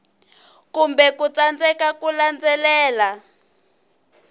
kumbe ku tsandzeka ku landzelela